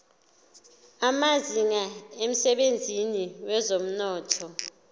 amazinga emsebenzini wezomnotho